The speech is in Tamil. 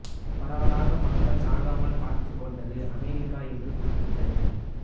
பரவலாக மக்கள் சாகாமல் பார்த்துக் கொண்டது அமெரிக்கா என்று குறிப்பிட்டது